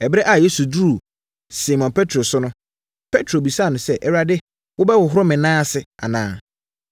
Ɛberɛ a Yesu duruu Simon Petro so no, Petro bisaa no sɛ. “Awurade, worebɛhohoro me nan ase anaa?”